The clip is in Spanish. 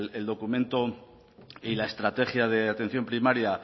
el documento y la estrategia de atención primaria